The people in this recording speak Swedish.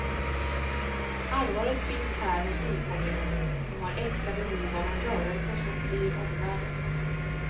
Allvaret finns här hos nykomlingen, som har äkta behov av en rörelse som flyr omvärlden.